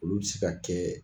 Olu bɛ se ka kɛ